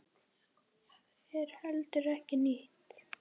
Það er heldur ekki nýtt.